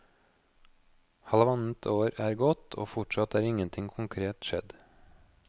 Halvannet år er gått, og fortsatt er ingenting konkret skjedd.